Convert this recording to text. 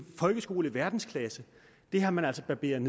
folkeskole i verdensklasse har man altså barberet